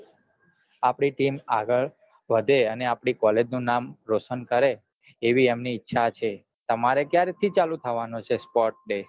આપડી team આગળ વઘે અને આપડી college નું નામ રોશન કરે એવી એમની ઈચ્છા છે તમારે ક્યાર થી ચાલુ થવાનો છે sportsday